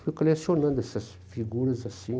Fui colecionando essas figuras assim.